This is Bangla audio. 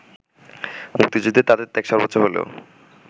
মুক্তিযুদ্ধে তাঁদের ত্যাগ সর্বোচ্চ হলেও